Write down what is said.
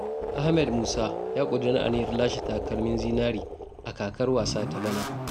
Ahmed Musa ya ƙudiri aniyar lashe takalmin zinre a kakar wasa ta bana.